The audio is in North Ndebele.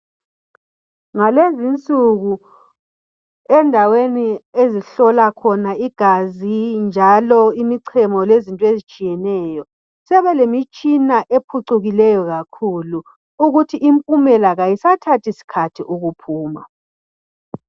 Ngalezinsuku endaweni okuhlolwa khona igazi, imichemo kanye lokunye okutshiyeneyo, sebelemitshina ephucukileyo ukuthi impumela kayisathathi sikhathi ukuphuma.